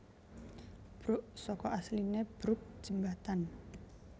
Bruk saka asline brooke jembatan